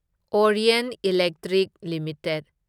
Orient Electric limited